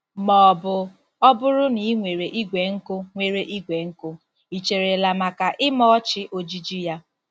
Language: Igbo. Ma ọ bụ ọ bụrụ na ị nwere igwe nkụ nwere igwe nkụ, ị cherela maka ịmachi ojiji ya?